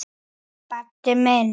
Baddi minn.